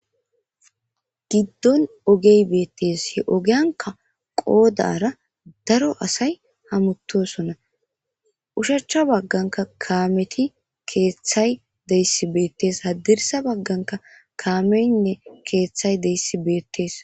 Giddon ogey beettes he ogiyanka qoodara daro asay hamuttosona ushacha bagganka kaameti keeththay deyssi beettes hadirisa bagganka kaamenne keeththay deyssi beettees.